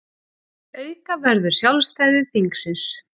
Auka verður sjálfstæði þingsins